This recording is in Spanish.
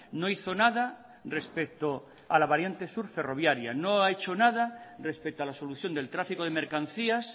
no hizo nada respecto a la variante sur ferroviaria no ha hecho nada respecto a la solución del tráfico de mercancías